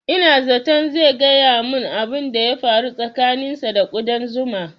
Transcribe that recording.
Ina zaton zai gaya mun abun da ya faru tsakanin sa da ƙudan zuma